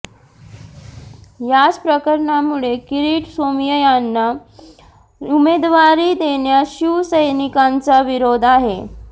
याच प्रकरणामुळे किरीट सोमय्यांना उमेदवारी देण्यास शिवसैनिकांचा विरोध आहे